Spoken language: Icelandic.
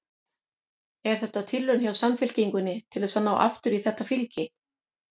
Er þetta tilraun hjá Samfylkingunni til þess að ná aftur í þetta fylgi?